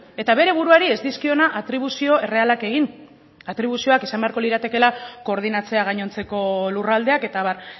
eta bere buruari ez dizkiona atribuzio errealak egin atribuzioak izan beharko liratekeela koordinatzea gainontzeko lurraldeak eta abar